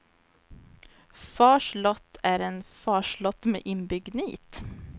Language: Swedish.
Fars lott är en farslott med inbyggd nit.